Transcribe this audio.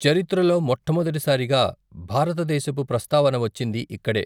చరిత్రలో మొట్టమొదటి సారిగా భారతదేశపు ప్రస్తావన వచ్చింది ఇక్కడే.